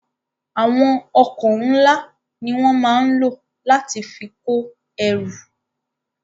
Àwọn ọkọ̀ ńla ni wọn máa ń lò láti fi kò ẹrú